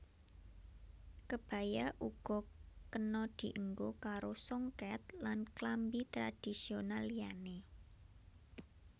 Kebaya uga kena dienggo karo songket lan klambi tradhisional liyané